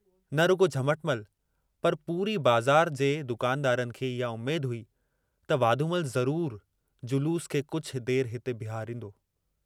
न रुगो झमटमल पर पूरी बज़ार जे दुकानदारनि खे इहा उम्मेद हुई त वाधूमल ज़रूर जलूस खे कुछ देर हिते बीहारींदो।